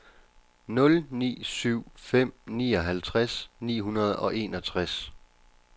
nul ni syv fem nioghalvtreds ni hundrede og enogtres